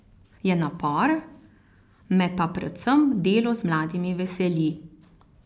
Je napor, me pa predvsem delo z mladimi veseli.